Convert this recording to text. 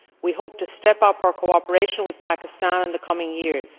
We hope to step up our cooperation with Pakistan in the coming years.